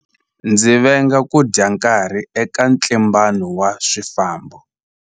Ndzi venga ku dya nkarhi eka ntlimbano wa swifambo.